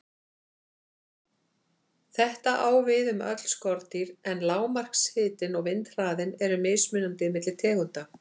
Þetta á við um öll skordýr, en lágmarkshitinn og vindhraðinn eru mismunandi milli tegunda.